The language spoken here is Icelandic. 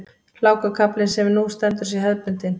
Hlákukaflinn sem nú stendur sé hefðbundinn